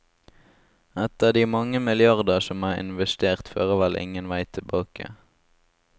Etter de mange milliarder som er investert, fører vel ingen vei tilbake.